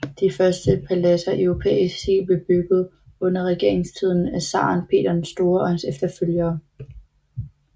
De første paladser i europæisk stil blev bygget under regeringstiden af zaren Peter den Store og hans efterfølgere